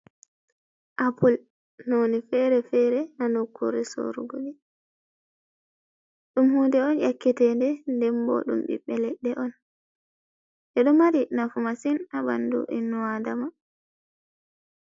Apple none fere-fere ha nokkure sorugo ɗi. Ɗum hunde on yakketende. Nden bo ɗum biɓɓe leɗɗe on, ɗeɗo mari nafu masin ha ɓandu innu adama.